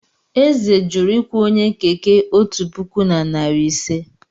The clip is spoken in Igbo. Eze jụrụ ịkwụ onye Keke otu puku na narị ise.